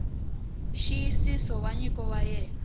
nxiyisiso wa nyiko ya wena